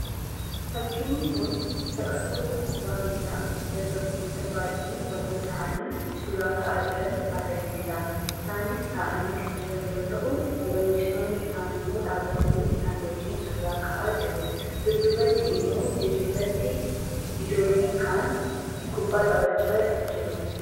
Fakkiin kun taphattoota kubbaa miilaa dargaggoota baay'ee waliin ta'anii suuraa ka'aa jiran agarsiisa. Isaanis taa'anii kan jiran yoo ta'u, leenjistoonni isaanii immoo dhaabatanii isaan wajjin suuraa ka'aa jiru. Dudduubatti immoo dirree irratti ijoolleen kaan kubbaa taphachaa jiru.